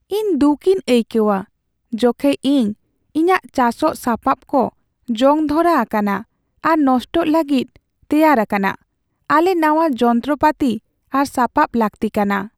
ᱤᱧ ᱫᱩᱠᱤᱧ ᱟᱹᱭᱠᱟᱹᱣᱟ ᱡᱚᱠᱷᱮᱡ ᱤᱧ ᱤᱧᱟᱹᱜ ᱪᱟᱥᱚᱜ ᱥᱟᱯᱟᱵ ᱠᱚᱡᱚᱝ ᱫᱷᱚᱨᱟ ᱟᱠᱟᱱᱟ ᱟᱨ ᱱᱚᱥᱴᱚᱜ ᱞᱟᱹᱜᱤᱫ ᱛᱮᱭᱟᱨ ᱟᱠᱟᱱᱟ ᱾ ᱟᱞᱮ ᱱᱟᱶᱟ ᱡᱚᱱᱛᱚᱨᱯᱟᱹᱛᱤ ᱟᱨ ᱥᱟᱯᱟᱵ ᱞᱟᱹᱠᱛᱤ ᱠᱟᱱᱟ ᱾